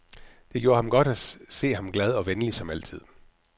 Det gjorde godt at se ham glad og venlig som altid.